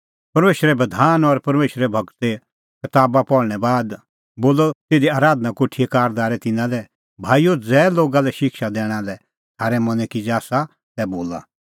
परमेशरे बधान और परमेशरे गूरे कताबा पहल़णैं बाद बोलअ तिधी आराधना कोठीए कारदारै तिन्नां लै भाईओ ज़ै लोगा लै शिक्षा दैणा लै थारै मनैं किज़ै आसा तै बोला